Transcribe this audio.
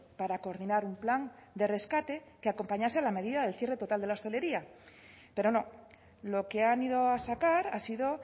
para coordinar un plan de rescate que acompañase la medida del cierre total de la hostelería pero no lo que han ido a sacar ha sido